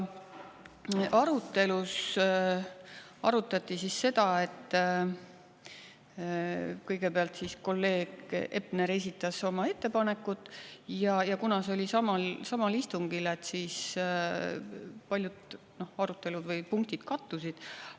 Arutelus arutati seda, et kõigepealt kolleeg Epler esitas oma ettepanekud, ja kuna see oli samal istungil, siis paljud arutelud või punktid kattusid.